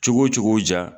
Cogo cogo ja